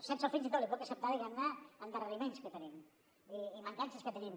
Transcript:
sense el fins i tot li puc acceptar diguem ne endarreriments que tenim i mancances que tenim